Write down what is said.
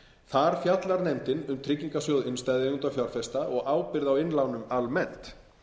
þar fjallar nefndin um tryggingarsjóð innstæðueigenda og fjárfesta og ábyrgð á innlánum almennt